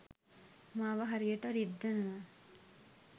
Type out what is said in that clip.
මාව හරියට රිද්දනවා